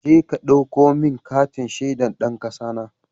Jeka ka ɗauko min katin shaidar ɗan ƙasana!